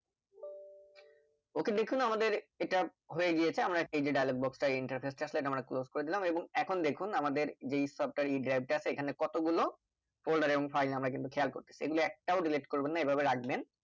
ok দেখুন আমাদের এটা হয়ে গিয়েছে এই যে dialogue box টা interface টা আসলে আমরা Close করে দিলাম এবং এখন দেখুন যে software e drive টা আছে এখানে কতগুলো folder এবং file আমরা খেয়াল করতেছি এগুলো একটাও Delete করবে না এভাবে রাখবেন